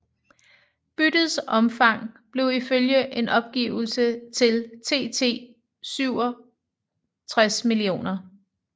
Byttets omfang blev ifølge en opgivelse til TT 67 mio